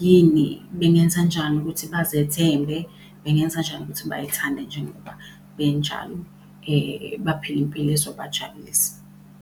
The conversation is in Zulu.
yini, bengenzanjani ukuthi bazethembe, bengenzanjani ukuthi bay'thande njengoba benjalo, baphile impilo ezobajabulisa.